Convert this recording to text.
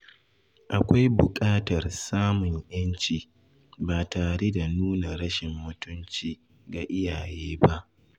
Akwai bukatar samun yanci ba tare da nuna rashin mutunci ga iyaye ba.